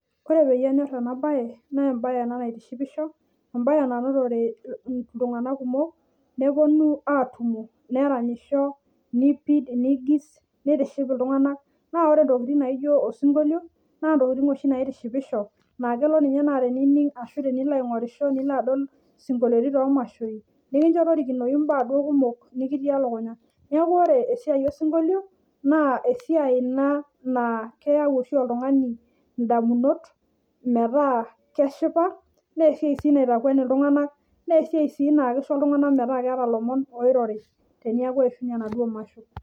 Ore enyor ena mbae naa mbae ena naitishipisho mbae nanotore iltung'ana kumok nepuonu atumo neranyisho nipid nigis nitiship iltung'ana naa ore entokitin naijio osinkolio naa ntokitin oshi naitishipisho naa kelo ninye teninig ashu tenilo aing'orisho esinkoliotin too mashoi nikinjo torikinoi mbaa kumok duo natii elukunya neeku ore esiai osinkolio naa esiai naa keyau oltung'ani edamunot metaa keshipa naa esiai sii naitakweni iltung'ana naa esiai sii naisho iltung'ana metaa keeta elomon oirorii tenekuu eyishunye enaduo masho